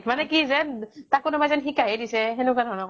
মানে কি যে তাক কোনোবাই যেন শিকাইহে দিছে সেনেকুৱা ধৰণৰ